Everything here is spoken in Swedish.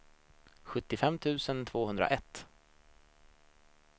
sjuttiofem tusen tvåhundraett